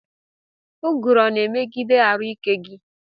Ụguru ọna emegide arụ ike gi?